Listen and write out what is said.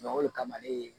o de kama ne ye